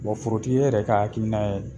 Bon forotigi, e yɛrɛ ka hakiina ye mun ye?